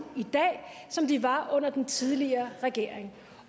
i dag som de var under den tidligere regering